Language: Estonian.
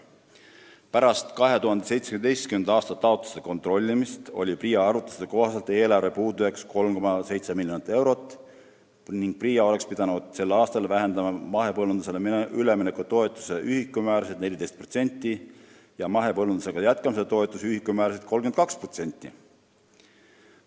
PRIA arvutuste kohaselt oli eelarve puudujääk pärast 2017. aasta taotluste kontrollimist 3,7 miljonit eurot ning nad oleks pidanud sel aastal vähendama mahepõllumajandusele ülemineku toetuse ühikumäärasid 14% ja mahepõllumajandusega jätkamise toetuse ühikumäärasid 32%.